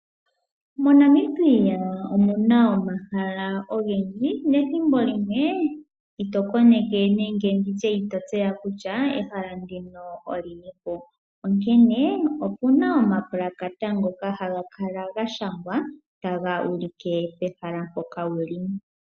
Monamibia omuna omahala ogendji nethimbo limwe ito koneke nenge nditye ito tseya kutya ehala ndino olinipo. Onkene opena omapalakata ngoka haga kala gashangwa taga ulike pehala mpoka wuli.